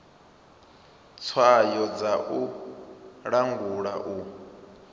tswayo dza u langula u